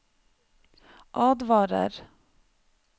advarer